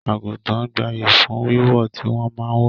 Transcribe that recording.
Àgùntàn gbayyi fún Wíwò tí wọn máa ń wò